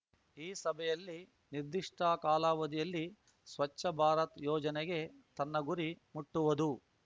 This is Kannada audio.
ಈ ಸಭೆಯಲ್ಲಿ ನಿರ್ದಿಷ್ಟಕಾಲಾವಧಿಯಲ್ಲಿ ಸ್ವಚ್ಛ ಭಾರತ್ ಯೋಜನೆ ತನ್ನ ಗುರಿ ಮುಟ್ಟುವುದು